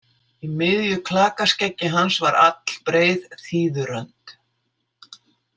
Í miðju klakaskeggi hans var allbreið þíðurönd.